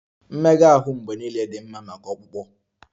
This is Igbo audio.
Mmega ahụ mgbe niile dị mma maka ọkpụkpụ